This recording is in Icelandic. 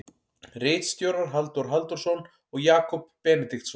Ritstjórar Halldór Halldórsson og Jakob Benediktsson.